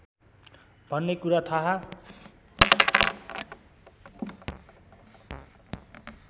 भन्ने कुरा थाहा